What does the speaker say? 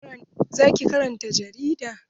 Za ki karanta jarida?